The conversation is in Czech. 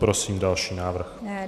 Prosím další návrh.